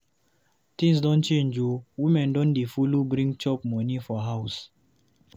Tins don change o, women don dey follow bring chop moni for house.